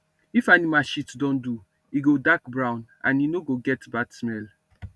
if animal shit don do e go dark brown and e no go get bad smell